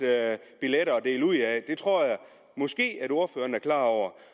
billetter at dele ud af det tror jeg måske ordføreren er klar over